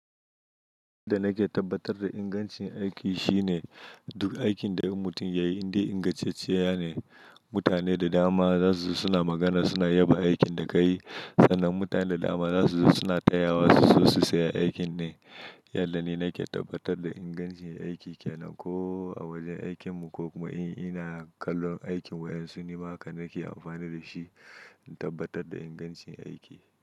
Wanda nake tabbatar da ingancin aiki shine duk aikin da in mutum ya yi inde ingantacciya ne. Mutane da dama za su zo suna magana, suna yaba aikin da ka yi. Sannan mutane da dama za su zo suna taya wa su so su saya aikin ne. Yadda ni nake tabbatar da ingancin aiki ke nan ko a wajen aikin mu ko kuma in ina kallon aikin wayan su. Nima haka nake amfani da shi in tabbatar da ingancin aiki.